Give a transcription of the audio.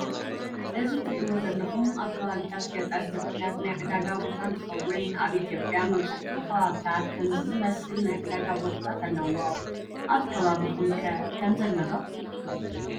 እዚ እትሪእዎ ዘለኹም ኣብ ከባቢታት ገጠር ዝርከብ ናይ ዕዳጋ ቦታ እንትኸውን ኣብ ኢትዮጵያ መብዛሕቲኡ ከባቢታት ከምዚ ዝመሰል ናይ ዕዳጋ ቦታታት አለዎ። ኣብ ከባቢኹም ኸ ምዚ ኣሎ ዶ?